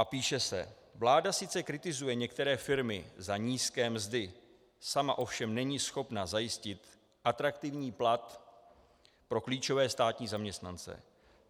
A píše se: Vláda sice kritizuje některé firmy za nízké mzdy, sama ovšem není schopna zajistit atraktivní plat pro klíčové státní zaměstnance.